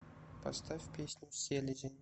поставь песню селезень